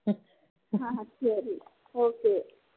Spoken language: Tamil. சரி okay